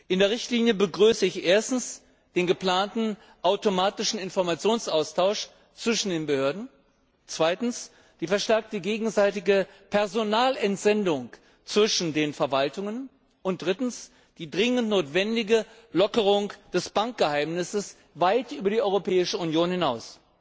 In der Richtlinie begrüße ich erstens den geplanten automatischen Informationsaustausch zwischen den Behörden, zweitens die verstärkte gegenseitige Personalentsendung zwischen den Verwaltungen und drittens die dringend notwendige Lockerung des Bankgeheimnisses weit über die Europäische Union hinaus.